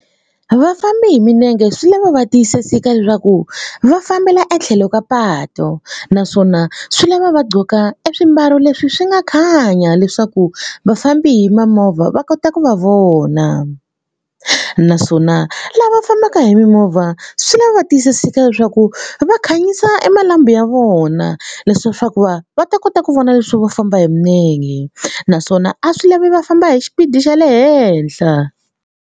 Vafambi hi milenge swi lava va tiyisiseka leswaku va fambela etlhelo ka patu naswona swi lava va e swimbalo leswi swi nga khanya leswaku vafambi hi mamovha va kota ku va vona naswona lava fambaka hi mimovha swi lava tiyisiseka leswaku va khanyisa e malambhu ya vona le swa swa ku va va ta kota ku vona leswi va famba hi milenge naswona a swi lavi va famba hi xipidi xa le henhla.